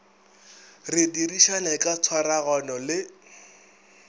re dirišane ka tshwaragano le